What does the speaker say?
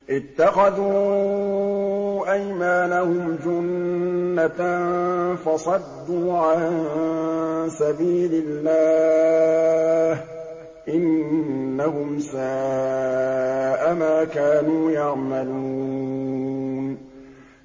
اتَّخَذُوا أَيْمَانَهُمْ جُنَّةً فَصَدُّوا عَن سَبِيلِ اللَّهِ ۚ إِنَّهُمْ سَاءَ مَا كَانُوا يَعْمَلُونَ